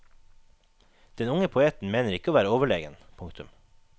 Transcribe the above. Den unge poeten mener ikke å være overlegen. punktum